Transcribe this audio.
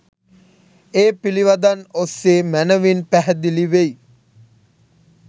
ඒ පිලිවදන් ඔස්සේ මැනවින් පැහැදිලිවෙයි